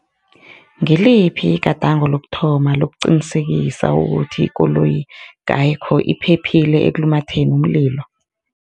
Ngiliphi igadango lokuthoma lokuqinisekisa ukuthi ikoloyi iphephile ekulumatheni umlilo?